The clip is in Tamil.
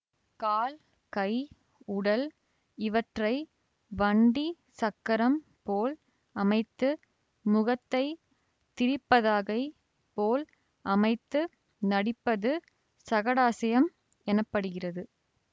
கால் கை உடல் இவற்றை வண்டிச் சக்கரம் போல அமைத்து முகத்தை திரிபதாகை போல் அமைத்து நடிப்பது சகடாஸ்யம் எனப்படுகிறது